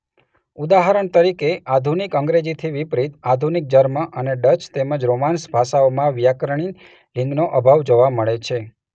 ઉદાહરણ તરીકે આધુનિક અંગ્રેજીથી વિપરીત આધુનિક જર્મન અને ડચ તેમજ રોમાન્સ ભાષાઓમાં વ્યાકરણીય લિંગનો અભાવ જોવા મળે છે.